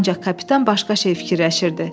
Ancaq kapitan başqa şey fikirləşirdi.